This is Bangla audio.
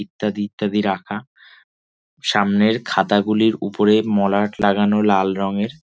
ইত্যাদি ইত্যাদি রাখা সামনের খাতাগুলির উপরে মলাট লাগানো লাল রঙের ।